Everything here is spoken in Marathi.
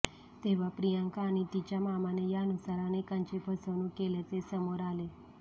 तेव्हा प्रियांका आणि तिच्या मामाने यानुसार अनेकांची फसवणूक केल्याचे समोर आले